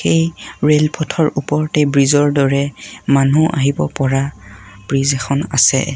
এই ৰেল পথৰ ওপৰতে ব্ৰিজৰ দৰে মানুহ আহিব পৰা ব্ৰিজ এখন আছে।